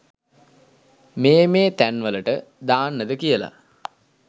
මේ මේ තැන් වලට දාන්නද කියලා.